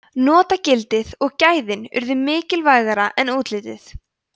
notagildið og gæðin urðu mikilvægara en útlitið